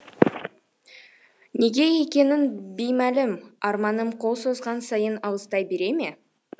неге екені беймәлім арманым қол созған сайын алыстай бере ме